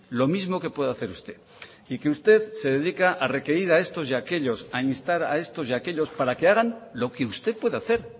lo mismo que puede hacer usted y que usted se dedica a requerir a estos y a aquellos a instar a estos y a aquellos para que hagan lo que usted puede hacer